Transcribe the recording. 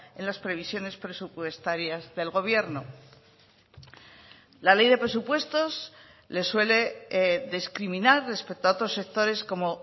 en las previsiones presupuestarias del gobierno la ley de presupuestos les suele discriminar respecto a otros sectores como